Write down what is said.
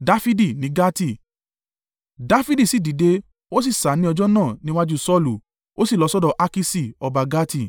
Dafidi sì dìde, o sì sá ni ọjọ́ náà níwájú Saulu, ó sì lọ sọ́dọ̀ Akiṣi, ọba Gati.